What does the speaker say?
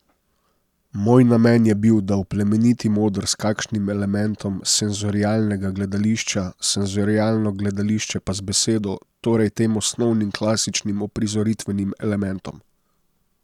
Moj namen je bil, da oplemenitim oder s kakšnim elementom senzorialnega gledališča, senzorialno gledališče pa z besedo, torej tem osnovnim, klasičnim uprizoritvenim elementom.